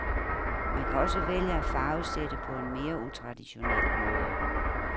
Man kan også vælge at farvesætte på en mere utraditionel måde.